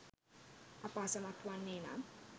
අප අසමත් වන්නේ නම්